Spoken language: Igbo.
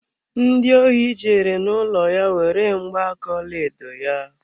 Ndi ohi jere n'ụlọ ya were mgba aka ọlaedo ya.